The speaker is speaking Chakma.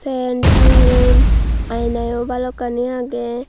pen tangeyon aina yo balokkani agey.